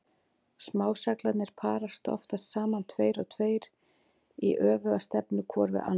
Smá-seglarnir parast oftast saman tveir og tveir í öfuga stefnu hvor við annan.